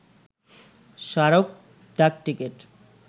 স্মরক ডাকটিকেট